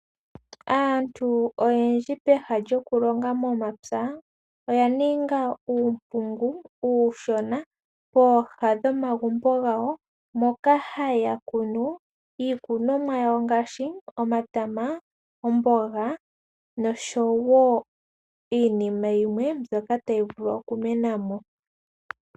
Aantu oyendji pehala lyokulonga momapya oya ninga uumpungu uushona pooha dhomagumbo gawo, moka haya kunu iikunomwa yawo ngaashi, omatama, omboga, nosho wo iinima yimwe mbyoka tayi vulu oku menamo.